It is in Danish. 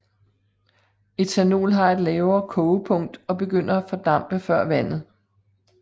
Ethanol har et lavere kogepunkt og begynder at fordampe før vandet